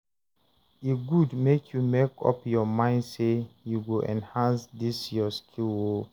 e good make you make up your mind say you go enhance dis your skill o